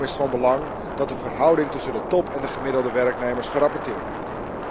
Daarom is het van belang dat de verhouding tussen de top en de gemiddelde werknemers gerapporteerd wordt.